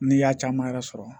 N'i y'a caman yɛrɛ sɔrɔ